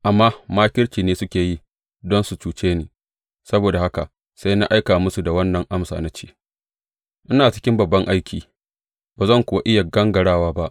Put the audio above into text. Amma makirci ne suke yi don su cuce ni; saboda haka sai na aika musu da wannan amsa, na ce, Ina cikin babban aiki, ba zan kuwa iya gangarawa ba.